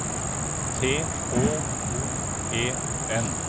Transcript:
T H O E N